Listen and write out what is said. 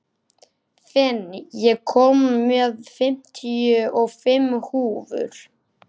Finn, ég kom með fimmtíu og fimm húfur!